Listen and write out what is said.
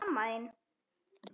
En mamma þín?